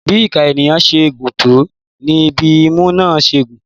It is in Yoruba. Bí ìka ènìyàn ṣe gùn tó ní bí imú náà ṣe gùn.